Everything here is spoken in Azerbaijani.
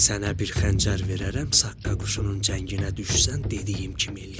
Sənə bir xəncər verərəm, saqqa quşunun cənginə düşsən dediyim kimi eləyərsən.